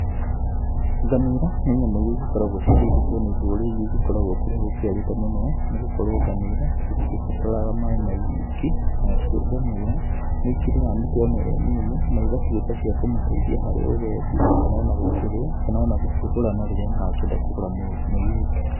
Ngamĩra, nĩ nyamũ iria igĩkoragwo cikĩigĩtwo ni ndũrĩrĩ iria igĩkoragwo kũrĩa gũkiarĩte mũno, nĩ gũkorwo ngamĩra, itigĩbataraga maaĩ maingĩ, nacio ngamĩra nĩ ikĩrĩaga mĩtĩ ona ĩrĩa mĩũmũ, na igatuĩka cia kũmateithia harĩ ũgendi, kana ona gũkĩrĩa, kana ona gũkĩgũrana rĩrĩa marakĩenda kũgũra mũirĩtu.